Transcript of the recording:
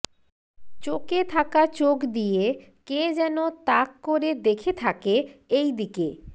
চোকে থাকা চোখ দিয়ে কে যেন তাক করে দেখে থাকে এইদিকে